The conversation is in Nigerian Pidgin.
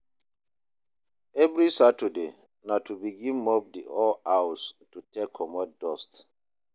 evri saturday na to begin mop di whole house to take comot dust